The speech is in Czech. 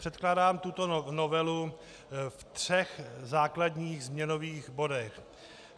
Předkládám tuto novelu ve třech základních změnových bodech.